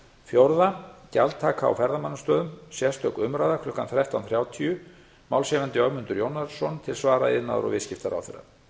fjórða gjaldtaka á ferðamannastöðum sérstök umræða klukkan þrettánda þrjátíu málshefjandi ögmundur jónasson til svar iðnaðar og viðskiptaráðherra